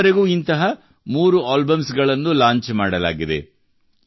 ಈವರೆಗೂ ಇಂತಹ ಮೂರು ಆಲ್ಬಮ್ಸ್ ಲಾಂಚ್ ಮಾಡಲಾಗಿದೆ